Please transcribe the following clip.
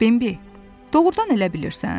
Bembi, doğrudan elə bilirsən?